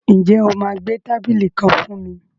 Ǹjẹ́ o máa gbẹ́ tábìlì kan fún mi?